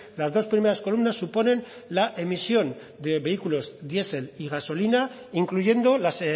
las dos primeras columnas suponen la emisión de vehículos diesel y gasolina incluyendo las